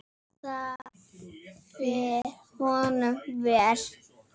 Það fer honum vel.